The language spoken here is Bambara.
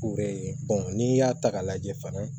U yɛrɛ ye n'i y'a ta k'a lajɛ fana